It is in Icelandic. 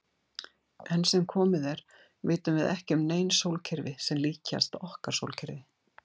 Enn sem komið er vitum við ekki um nein sólkerfi sem líkjast okkar sólkerfi.